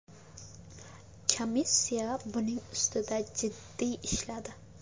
Komissiya buning ustida jiddiy ishladi.